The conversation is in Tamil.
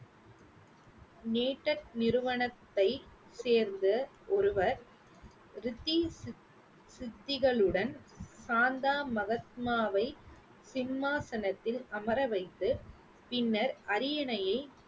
நிறுவனத்தை சேர்ந்த ஒருவர் ரித்தி சித்திகளுடன் சாந்தா மஹத்மாவை சிம்மாசனத்தில் அமர வைத்து பின்னர் அரியணையை